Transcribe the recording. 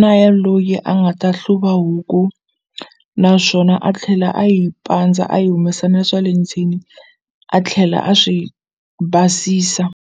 na ya loyi a nga ta hluva huku naswona a tlhela a yi pandza a yi humesa na swa le ndzeni a tlhela a swi basisa.